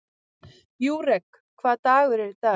Júrek, hvaða dagur er í dag?